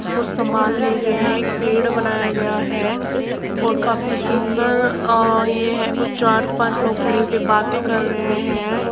कुछ समान लिये हुए है। एक पेड़ बनाया गया है और काफी सुन्दर अ ये है कुछ चार पाँच लोग खड़े हो के बाते कर रहे है।